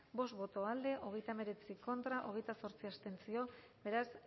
bost boto alde hogeita hemeretzi contra hogeita zortzi abstentzio beraz